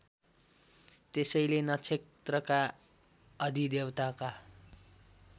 त्यसैले नक्षत्रका अधिदेवताका